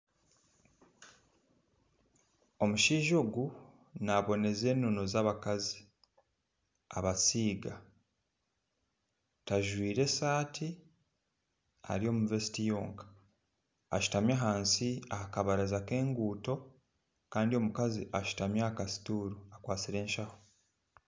Omushaija ogu naboneza enono z'abakazi abasiiga tajwire esati ari omu vesiti yonka ashutami ahansi ahakabaraza k'enguuto kandi omukazi ashutami aha ka situuru akwasire enshaho.